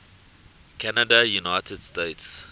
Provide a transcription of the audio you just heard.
canada united states